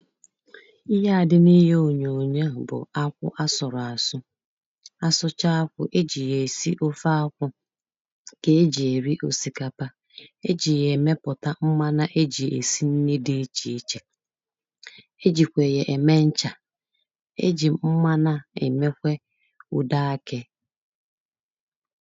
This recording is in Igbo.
Ihe a dị n’ịhe ònyòònyò bụ akwụ a sọrọ asụ. A sụchaa akwụ, ejị ya esi ofe akwụ, ka ejị ya eri osikapa, ejị ya emepụta mmanya, ejị esi nni dị iche iche, ejị kwe ya eme ncha, ejị mmanụ emekwe ụdọ akị.